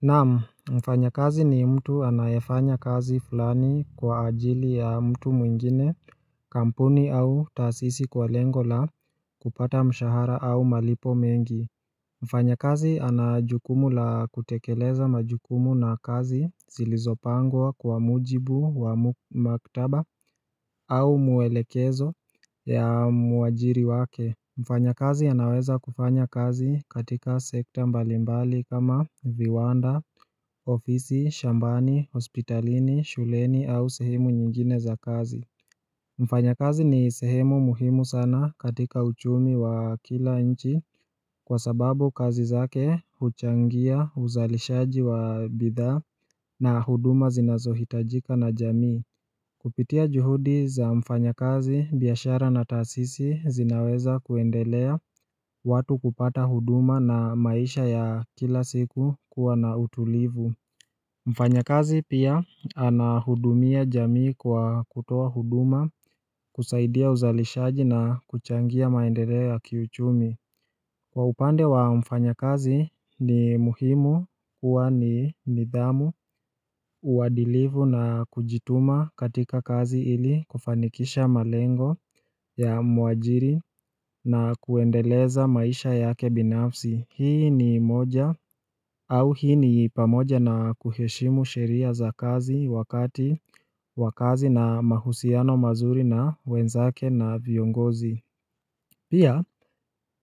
Naam, mfanya kazi ni mtu anayefanya kazi fulani kwa ajili ya mtu mwingine kampuni au taasisi kwa lengo la kupata mshahara au malipo mengi Mfanya kazi anajukumu la kutekeleza majukumu na kazi zilizopangwa kwa mujibu wa maktaba au muelekezo ya muajiri wake Mfanya kazi anaweza kufanya kazi katika sekta mbalimbali kama viwanda, ofisi, shambani, hospitalini, shuleni au sehemu nyingine za kazi Mfanya kazi ni sehemu muhimu sana katika uchumi wa kila nchi Kwa sababu kazi zake huchangia uzalishaji wa bidhaa na huduma zinazohitajika na jamii Kupitia juhudi za mfanya kazi, biashara na taasisi zinaweza kuendelea watu kupata huduma na maisha ya kila siku kuwa na utulivu Mfanya kazi pia anahudumia jamii kwa kutoa huduma kusaidia uzalishaji na kuchangia maendeleo ya kiuchumi Kwa upande wa mfanya kazi ni muhimu kuwa ni nidhamu uadilifu na kujituma katika kazi ili kufanikisha malengo ya muajiri na kuendeleza maisha yake binafsi Hii ni moja au hii ni pamoja na kuheshimu sheria za kazi wakati wakazi na mahusiano mazuri na wenzake na viongozi Pia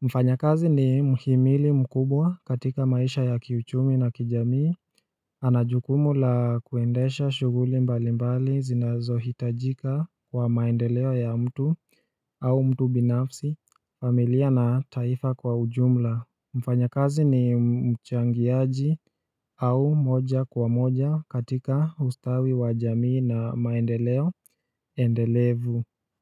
mfanya kazi ni mhimili mkubwa katika maisha ya kiuchumi na kijamii anajukumu la kuendesha shughuli mbali mbali zinazo hitajika kwa maendeleo ya mtu au mtu binafsi, familia na taifa kwa ujumla Mfanya kazi ni mchangiaji au moja kwa moja katika ustawi wa jamii na maendeleo, endelevu.